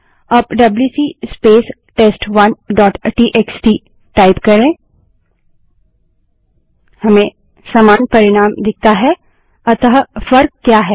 अब WC space test one dot TXT WC space test one dot TXT type करें हमें समान परिणाम दिखता है अतः फर्क क्या है